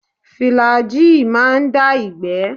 Fìlàgíì má ń dá ìgbẹ́.